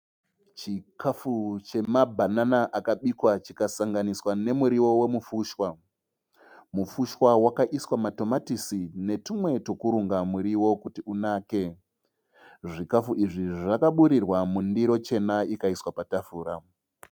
Chikafu chemabhanana akabikwa chikasanganiswa nemurio wemufushwa. Mufushwa wakaiswa matomatisi netumwe twekurunga murio kuti unake. Zvikafu izvi zvakaburirwa mundiro chena ikaiswa patafura.